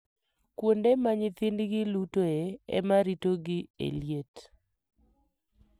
Kuonde ma nyithindgi lutoe, ema ritogi e liet.